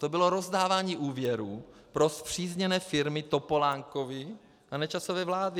To bylo rozdávání úvěrů pro spřízněné firmy Topolánkovy a Nečasovy vlády.